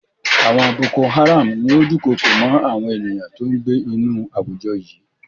Àwọn Boko-Haram ni ó dukoko mọ́ àwọn ènìyàn tó ń gbé inú àwùjọ yìí.